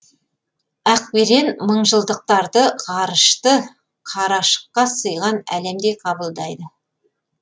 ақберен мыңжылдықтарды ғарышты қарашыққа сыйған әлемдей қабылдайды